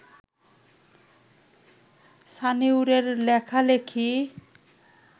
সানিউরের লেখালেখি